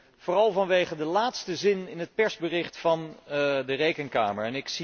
Nee, vooral vanwege de laatste zin in het persbericht van de Rekenkamer.